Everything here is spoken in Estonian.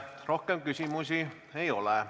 Rohkem küsimusi ei ole.